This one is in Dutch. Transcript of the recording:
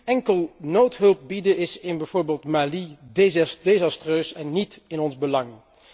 Nu, enkel noodhulp bieden is in bijvoorbeeld Mali desastreus en niet in ons belang.